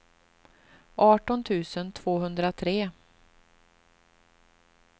arton tusen tvåhundratre